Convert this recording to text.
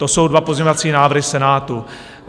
To jsou dva pozměňovací návrhy Senátu.